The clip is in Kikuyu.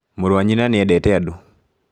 Mũrũ wa nyina nĩ endete andũ